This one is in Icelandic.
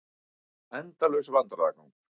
Endalaus vandræðagangur.